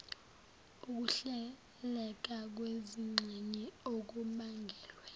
ukuhleleka kwezingxenye okubangelwa